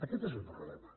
aquest és el problema